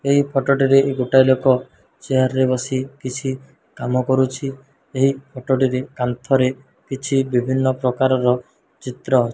ଏହି ଫୋଟୋ ଟିରେ ଗୋଟାଏ ଲୋକ ଚେୟାର ବସି କିଛି କାମ କରୁଛି। ଏହି ଫୋଟୋ ଟି ରେ କାନ୍ଥରେ କିଛି ବିଭିନ୍ନ ପ୍ରକାରର ଚିତ୍ର --